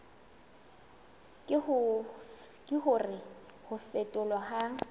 ke hore ho phetholwa ha